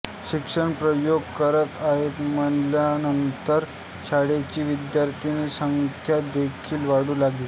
शिक्षक प्रयोग करत आहेत म्हणल्यानंतर शाळेची विद्यार्थीसंख्या देखील वाढू लागली